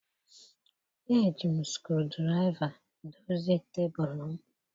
Eji m screwdriver dozie tebụl m.